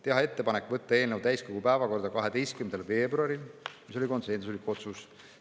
Teha ettepanek võtta eelnõu täiskogu päevakorda 12. veebruaril, see oli konsensuslik otsus.